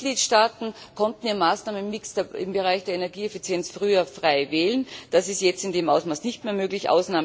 Die Mitgliedstaaten konnten ihren Maßnahmenmix im Bereich der Energieeffizienz früher frei wählen, das ist jetzt in dem Ausmaß nicht mehr möglich.